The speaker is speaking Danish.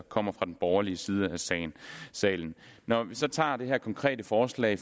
kommer fra den borgerlige side af salen salen når vi så tager det her konkrete forslag